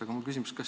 Aga mul on küsimus.